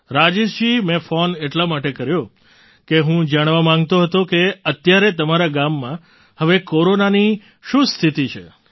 રાજેશજી મેં ફૉન એટલા માટે કર્યો કે હું જાણવા માગતો હતો કે અત્યારે તમારા ગામમાં હવે કોરોનાની શું સ્થિતિ છે